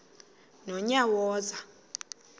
nonyawoza